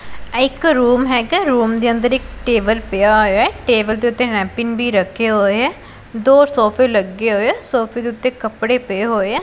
ਇਹ ਇੱਕ ਰੂਮ ਹਿਗਾ ਰੂਮ ਦੇ ਅੰਦਰ ਇੱਕ ਟੇਬਲ ਪਿਆ ਹੋਇਆ ਹੈ ਟੇਬਲ ਦੇ ਓੱਤੇ ਨੈਪਕਿਨ ਵੀ ਰੱਖੇ ਹੋਇਆ ਦੋ ਸੋਫ਼ੇ ਲੱਗੇ ਹੋਇਆ ਸੋਫ਼ੇ ਦੇ ਉੱਤੇ ਕੱਪੜੇ ਪਏ ਹੋਈਆਂ।